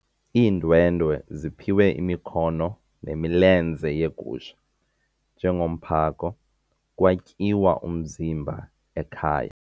Iindwendwe ziphiwe imikhono nemilenze yegusha njengomphako kwatyiwa umzimba ekhaya.